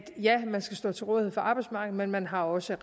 ja man skal stå til rådighed for arbejdsmarkedet men man har også